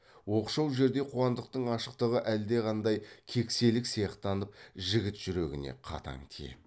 оқшау жерде қуандықтың ашықтығы әлдеқандай кекселік сияқтанып жігіт жүрегіне қатаң тиеді